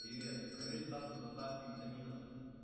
привет проверь статус доставки витаминов